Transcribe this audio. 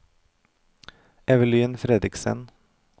Evelyn Fredriksen